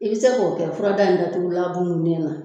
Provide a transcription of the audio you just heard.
I bɛ se k'o kɛ fura da in datugulan na